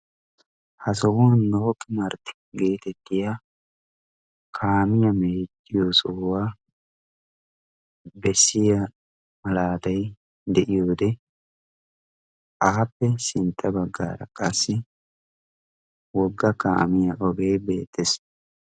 ha sohuwan nooqqi martti geetettiya kaamiya meeciyo sohuwaa bessiya malaatay de'iyoode aappe sintta baggaara qaassi wogga kaamiya ogee beettees